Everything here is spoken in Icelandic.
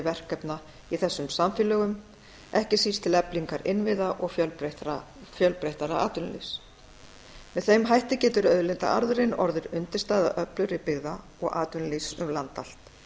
verkefna í þessum samfélögum ekki síst til eflingar innviða og fjölbreyttara atvinnulífs með þeim hætti getur auðlindaarðurinn orðið undirstaða öflugri byggða og atvinnulífs um land allt